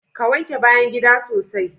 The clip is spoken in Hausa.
Ka! wanke bayan gida sosai